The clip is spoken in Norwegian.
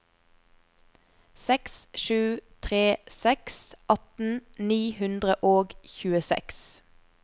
seks sju tre seks atten ni hundre og tjueseks